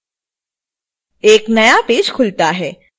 एक नया पेज खलुता है